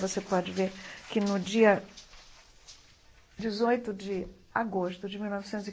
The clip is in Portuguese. Você pode ver que, no dia dezoito de agosto de mil novecentos e